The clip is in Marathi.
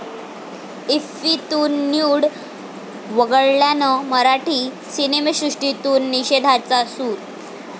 इफ्फी'तून 'न्यूड' वगळल्यानं मराठी सिनेसृष्टीतून निषेधाचा सूर